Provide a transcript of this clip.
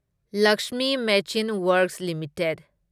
Lakshmi machine works limited